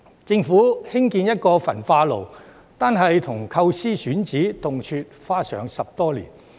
政府興建一個焚化爐，單是構思及選址，動輒花上10多年。